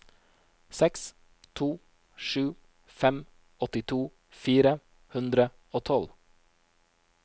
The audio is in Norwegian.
seks to sju fem åttito fire hundre og tolv